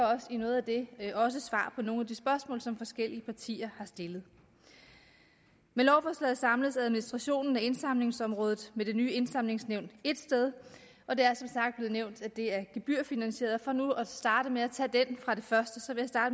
i noget af det også svar på nogle spørgsmål som forskellige partier har stillet med lovforslaget samles administrationen af indsamlingsområdet med det nye indsamlingsnævn ét sted og det er som sagt blevet nævnt at det er gebyrfinansieret og for nu at starte med at tage det først